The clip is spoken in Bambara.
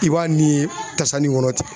I b'a ni ye tasanni kɔnɔ ten.